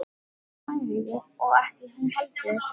Hann hlær ekki og ekki hún heldur.